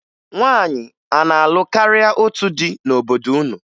Nwaanyị a na-alụ karịa otu di n'obodo unu?